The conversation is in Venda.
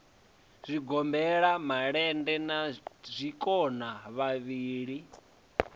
zwigombela malende na zwikona vhavhili